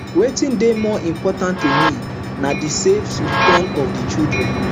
wetin dey more important to me na di safe return of di children